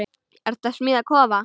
Ertu að smíða kofa?